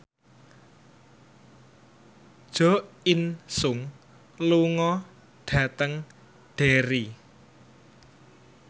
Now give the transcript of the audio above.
Jo In Sung lunga dhateng Derry